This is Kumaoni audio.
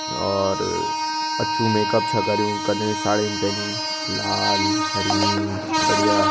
यार अच्छू मेकअप छ करयूं कन साड़ीन पैरीं लाल हरी बढ़िया।